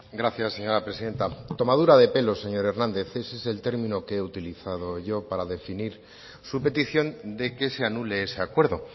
gracias señora presidenta tomadura de pelo señor hernández ese es el término que he utilizado yo para definir su petición de que se anule ese acuerdo